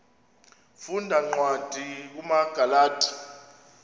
funda cwadi kumagalati